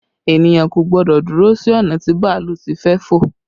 Ènìyàn kò gbọ́dọ̀ dúró sí ọ̀nà tí bàálù ti fẹ́ fò